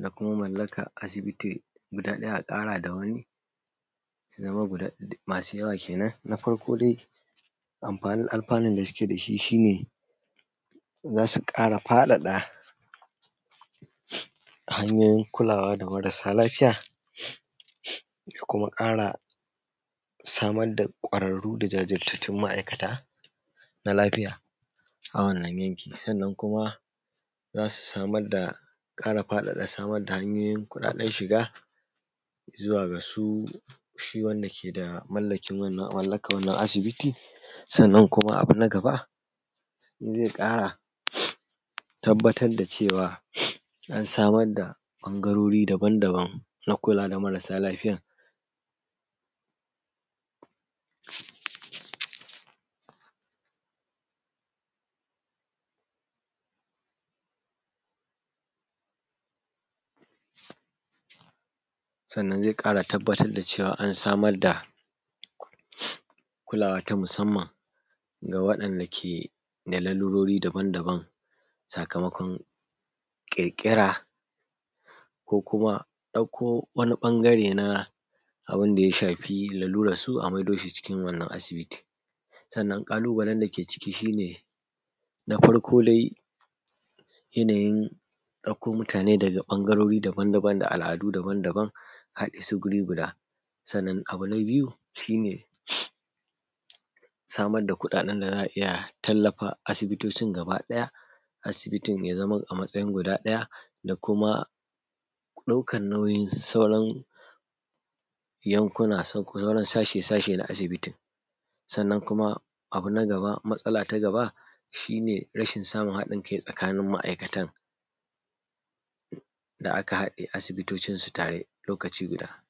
da kuma mallakan asibiti guda ɗaya a ƙara da wani su zama masu yawa kenan. Na farko dai amfanin da suke da shi, shi ne za su ƙara faɗaɗa hanyoyin kulawa da marasa lafiya da kuma ƙara samar da ƙwararru da jajirtattun ma’aikata na lafiya a wannan yanki. Sannan kuma za su samar da ƙara faɗaɗa samar da hanyoyin kuɗaɗen shiga zuwa ga shi wanda ke da mallakin mallakan wannan asibiti. Sannan kuma abu na gaba zai ƙara tabbatar da cewa an samar da ɓangarori daban daban na kula da marasa lafiyan. Sannan zai ƙara tabbatar da cewa an samar da kulawa ta musamman ga waɗanda ke da lalurori daban daban, sakamakon ƙirƙira ko kuma ɗauko wani ɓangare na abun da ya shafi laluran su, a maido shi cikin wannan asibiti. Sannan kalubalen da ke ciki shi ne na farko dai shi ne yanayi ɗauko mutane daga ɓangarori daban daban, da al’adu daban daban a haɗe su guri guda, sannan abu na biyu shi ne samar da kuɗaɗen da za a iya tallafa asibitocin gaba ɗaya. Asibitin ya zama a matsayin guda ɗaya da kuma ɗaukan nauyin sauran yankuna, sauran, sashi sashi na asibiti. Sannan kuma abu na gaba matsala ta gaba, rashin samun haɗin kai tsakanin ma’aikatan da aka haɗe asibitocin su tare lokaci guda.